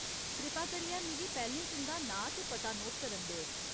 कृपा करियै मिगी पैह्‌लें तुं'दा नांऽ ते पता नोट करन देओ।